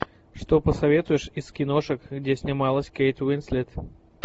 что посоветуешь из киношек где снималась кейт уинслет